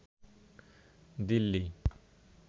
Delhi